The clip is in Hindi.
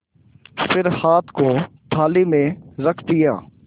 फिर हाथ को थाली में रख दिया